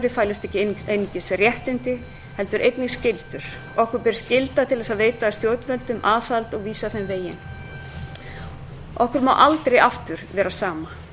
fælust ekki einungis réttindi heldur einnig skyldur okkur ber skylda til að veita stjórnvöldum aðhald og vísa þeim veginn okkur má aldrei aftur vera sama